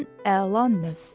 Ən əla növ!